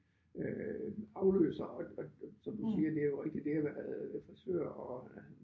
Øh afløser og og som du siger det er jo rigtigt har været frisører og